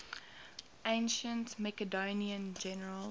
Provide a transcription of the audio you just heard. ancient macedonian generals